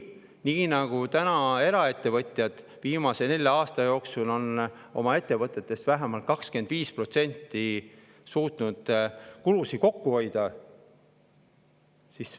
Või nii nagu eraettevõtjad, kes on viimase nelja aasta jooksul suutnud on oma ettevõtetes vähemalt 25% kulusid kokku hoida?